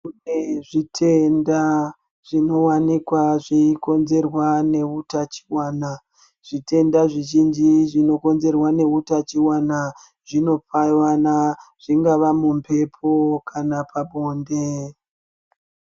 Kune zvitenda zvinowanikwa zveikonzerwa neutachiwana, zvitenda zvizhinji zvinokonzerwa neutachiwana zvinopuwana, zvingava mumbepo kana pabonde.